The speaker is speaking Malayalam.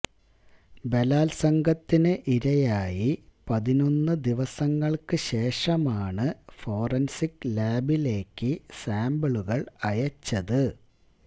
ബലാത്സംഗത്തിന് ഇരയായി പതിനൊന്ന് ദിവസങ്ങള്ക്ക് ശേഷമാണ് ഫോറന്സിക് ലാബിലേക്ക് സാംപിളുകള് അയച്ചത്